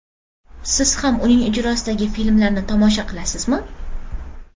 Siz ham uning ijrosidagi filmlarni tomosha qilasizmi?